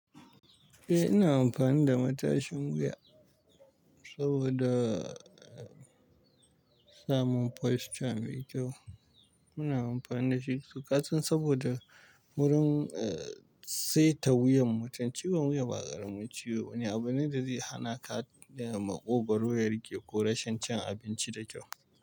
Eh ina amfani da matashin wuya saboda samun posture mai kyau. Muna amfani da shi to kasan saboda wurin saita wuyan mutum. Ciwon wuya ba ƙaramin ciwo bane, abune da zai hana ka daga maƙogwaro, girki ko rashin cin abinci da kyau.